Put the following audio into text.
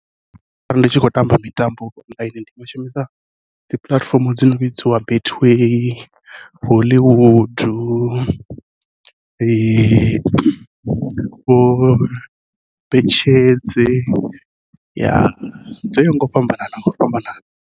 Arali ndi tshi khou tamba mitambo online ndi nga shumisa dzi puḽatifomo dzi no vhidziwa betway, hollywood, vho betshedze dzo yaho ngau fhambanana ngau fhambanana.